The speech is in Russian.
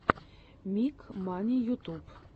миг мани ютуб